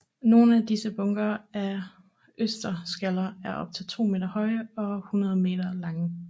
Nogle af disse bunker af østersskaller er op til to meter høje og 100 meter lange